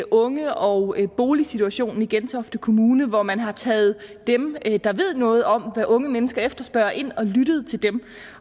unge og boligsituationen i gentofte kommune hvor man har taget dem der ved noget om hvad unge mennesker efterspørger ind og har lyttet til dem